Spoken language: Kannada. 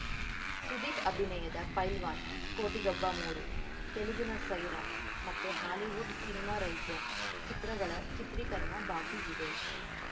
ಸುದೀಪ್‌ ಅಭಿನಯದ ಪೈಲ್ವಾನ್‌ ಕೋಟಿಗೊಬ್ಬ ಮೂರು ತೆಲುಗಿನ ಸೈರಾ ಮತ್ತು ಹಾಲಿವುಡ್‌ ಸಿನಿಮಾ ರೈಸನ್‌ ಚಿತ್ರಗಳ ಚಿತ್ರೀಕರಣ ಬಾಕಿಯಿದೆ